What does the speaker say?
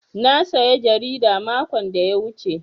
Na saya jarida makon da ya wuce.